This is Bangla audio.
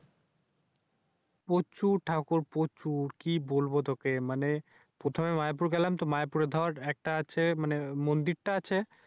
প্রচুর ঠাকুর প্রচুর। কি বলব তুকে? মানি সবে মায়াপুর গেলামতো মায়াপুর দর একটা আছে মন্দিরটা আছে।